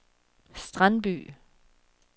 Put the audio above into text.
Strandby